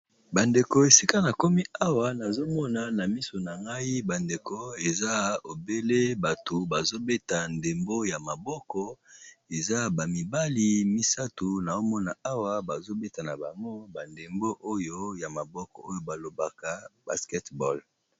Bandeko esika na komi awa nazomona na miso na ngai bandeko eza obele bato bazobeta ndembo ya maboko eza ba mibali misato na omona awa bazobeta na bango ba ndembo oyo ya maboko oyo balobaka Basketball.